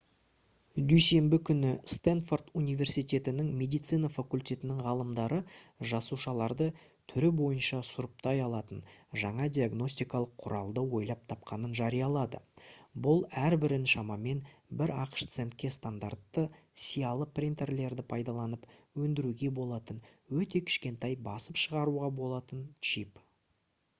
дүйсенбі күні стэнфорд университетінің медицина факультетінің ғалымдары жасушаларды түрі бойынша сұрыптай алатын жаңа диагностикалық құралды ойлап тапқанын жариялады бұл әрбірін шамамен бір ақш центке стандартты сиялы принтерлерді пайдаланып өндіруге болатын өте кішкентай басып шығаруға болатын чип